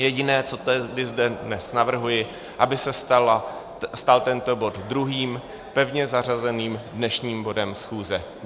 Jediné, co zde dnes navrhuji, aby se stal tento bod druhým pevně zařazeným dnešním bodem schůze.